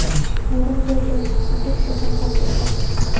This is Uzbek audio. Bayram kayfiyati sizni hech qachon tark etmasin!.